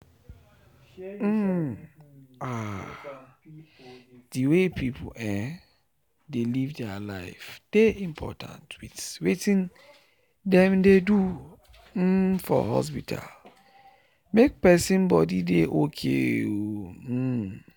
umm! ahh! the way people um dey live their life dey important with watin them dey do um for hospital make person body dey okay. um